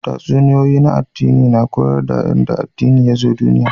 Tatsuniyoyin addini na koyar da yanda addini yazo duniya